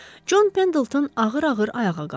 Con Pendelton ağır-ağır ayağa qalxdı.